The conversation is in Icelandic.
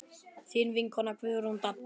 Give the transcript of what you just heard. Þín vinkona Guðrún Dadda.